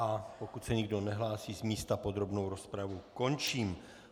A pokud se nikdo nehlásí z místa, podrobnou rozpravu končím.